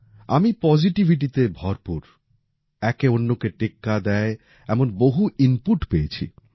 আমি পজিটিভিটিতে ভরপুর একে অন্যকে টেক্কা দেয় এমন বহু ইনপুট পেয়েছি